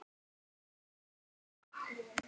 Laufin eru fallin til jarðar.